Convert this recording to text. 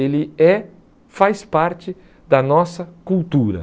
Ele é, faz parte da nossa cultura.